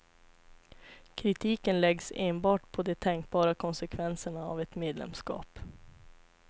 Kritiken läggs enbart på de tänkbara konsekvenserna av ett medlemskap.